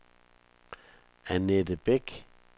Annette Beck